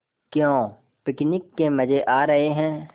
क्यों पिकनिक के मज़े आ रहे हैं